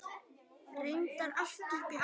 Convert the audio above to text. Reyndar allt upp í átta.